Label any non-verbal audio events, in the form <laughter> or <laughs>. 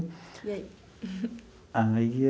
E aí? <laughs> Aí.